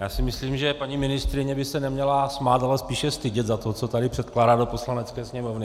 Já si myslím, že paní ministryně by se neměla smát, ale spíše stydět za to, co tady předkládá do Poslanecké sněmovny.